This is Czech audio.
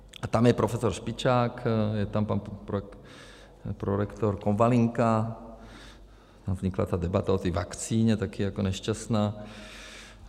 A tam je profesor Špičák, je tam pan prorektor Konvalinka, tam vznikla ta debata o té vakcíně, taky jako nešťastná.